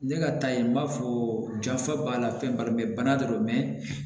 Ne ka taa yen n b'a fɔ jafa b'a la fɛn b'a la bana do